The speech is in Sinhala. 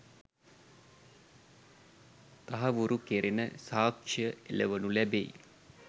තහවුරු කෙරෙන සාක්‍ෂ්‍ය එළවනු ලැබෙයි.